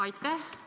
Aitäh!